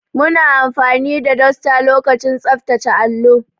Muna amfani da duster lokacin tsaftace allo.